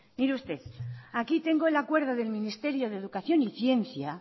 mire usted aquí tengo el acuerdo del ministerio de educación y ciencia